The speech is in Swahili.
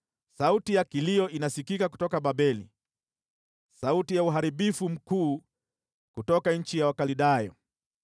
“Sauti ya kilio inasikika kutoka Babeli, sauti ya uharibifu mkuu kutoka nchi ya Wakaldayo.